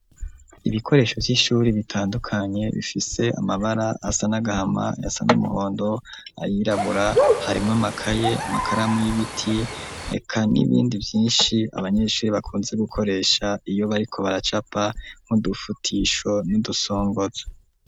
Ibikoresho vy'ishuri, bitandukanye, bifise amabara, asa n'agahama, ayasa n'umuhondo, ayirabura; harimwo amakaye, amakaramu y'ibiti, eka n'ibindi vyinshi, abanyeshuri bakunze gukoresha, iyo bariko baracapa, nk'udufutisho, n'udusongozo.